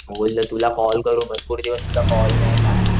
बोललो तुला कॉल करू भरपूर दिवस तुझा कॉल नाही काही नाही.